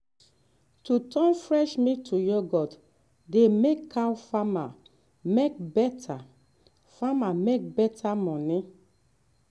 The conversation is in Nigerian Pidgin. to turn fresh milk to yoghurt dey help cow farmer make better farmer make better money.